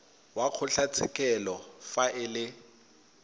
wa kgotlatshekelo fa e le